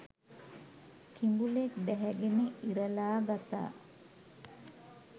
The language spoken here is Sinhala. කිඹුලෙක් ඩැහැගෙන ඉරලා ගතා